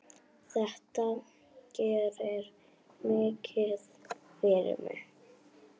Þetta gerir mikið fyrir mig.